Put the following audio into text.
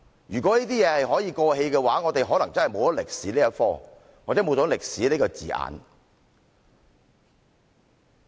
如果這些事情可以過氣的話，我們可能會沒有歷史這科目，或者沒有歷史這個字眼。